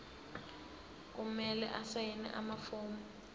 kumele asayine amafomu